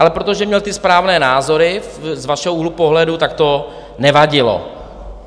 Ale protože měl ty správné názory, z vašeho úhlu pohledu, tak to nevadilo.